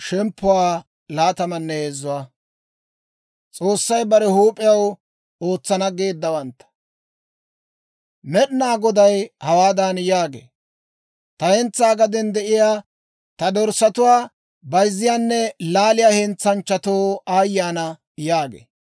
Med'inaa Goday hawaadan yaagee; «Ta hentsaa gaden de'iyaa dorssatuwaa bayzziyaanne laaliyaa hentsanchchatoo aayye ana!» yaagee.